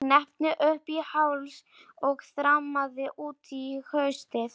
Ég hneppti upp í háls og þrammaði út í haustið.